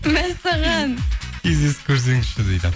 мәссаған кездесіп көрсеңізші дейді